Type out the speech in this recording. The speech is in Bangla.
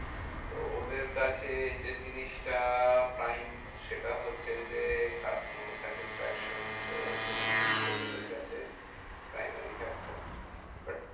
তো ওদের কাছে যে জিনিসটা prime সেটা হচ্ছে যে, customer satisfaction. তো হম সেই জিনিসটাই ওদের কাছে primary factor হম but